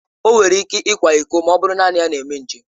O nwere ike ịkwa ịko ma ọ bụrụ naanị ya na-eme njem.